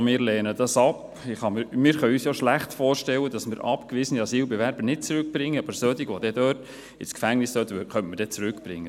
Wir können uns ja schlecht vorstellen, dass wir abgewiesene Asylbewerber nicht zurückbringen, aber solche, die dann dort ins Gefängnis gehen sollten, könnte man dann zurückbringen.